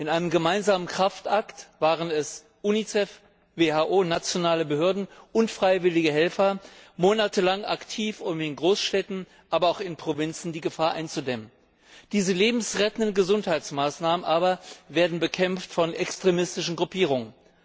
In einem gemeinsamen Kraftakt waren Unicef, WHO, nationale Behörden und freiwillige Helfer monatelang aktiv, um in Großstädten, aber auch in Provinzen die Gefahr einzudämmen. Diese lebensrettenden Gesundheitsmaßnahmen aber werden bekämpft von extremistischen Gruppierungen.